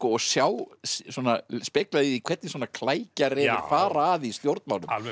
og speglað í því hvernig svona fara að í stjórnmálum alveg